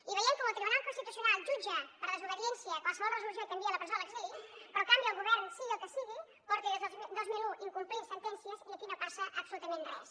i veiem com el tribunal constitucional jutja per desobe·diència qualsevol resolució i t’envia a la presó o a l’exili però en canvi el govern sigui el que sigui porta des del dos mil un incomplint sentències i aquí no passa absoluta·ment res